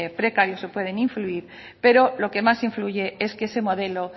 precarios o pueden influir pero lo que más influye es que ese modelo